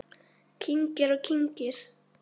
Kyngir og kyngir.